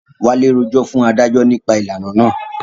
Wálé rojọ́ fún adájọ́ nípa ìlànà naa